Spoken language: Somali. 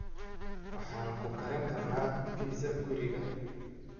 Waxaan ku karin karnaa pizza guriga.